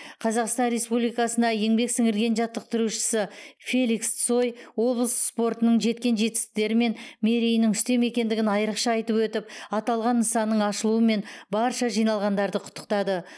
қазақстан республикасына еңбек сіңірген жаттықтырушысы феликс цой облыс спортының жеткен жетістіктері мен мерейінің үстем екендігін айрықша айтып өтіп аталған нысанның ашылуымен барша жиналғандарды құттықтады